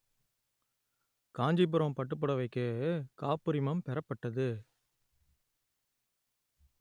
காஞ்சிபுரம் பட்டுப்புடவைக்கு காப்புரிமம் பெறப்பட்டது